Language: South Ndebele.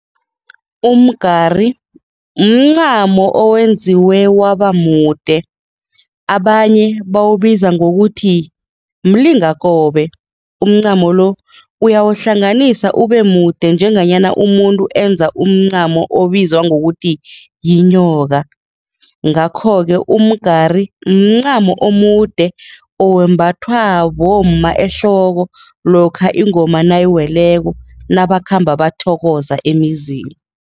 Umgari mncamo owenziwe wabamude, abanye bawubiza ngokuthi mlingakobe, umncamo-lo uyawuhlanganisa ubemude njenganyana umuntu enza umncamo obizwa ngokuthi yinyoka ngakho-ke umgari, mncamo omude owembathwa bomma ehloko lokha ingoma nayiweleko, nabakhamba bathokoza emizini.